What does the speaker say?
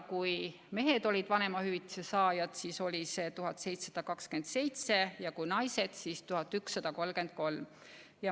Kui mehed olid vanemahüvitise saajad, siis oli see näitaja keskmiselt 1727, ja kui naised, siis 1133 eurot.